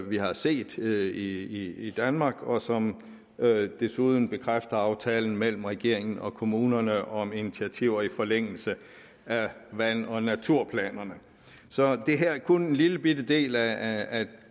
vi har set i danmark og som desuden bekræfter aftalen mellem regeringen og kommunerne om initiativer i forlængelse af vand og naturplanerne så det her er kun en lillebitte del af